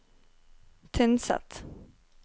Tynset